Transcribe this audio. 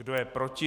Kdo je proti?